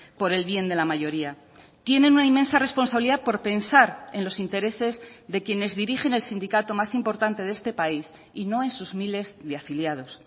por el bien de la mayoría tienen una inmensa responsabilidad por pensar en los intereses de quienes dirigen el sindicato más importante de este país y no en sus miles de afiliados